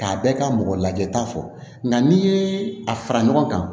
K'a bɛɛ ka mɔgɔ lajɛta fɔ nka n'i ye a fara ɲɔgɔn kan